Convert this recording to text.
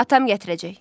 Atam gətirəcək.